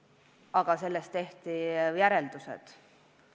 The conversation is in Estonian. Aga sellest tehti järeldused.